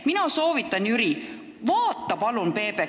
Mina soovitan sul, Jüri, vaadata PBK-d, ära ütle ...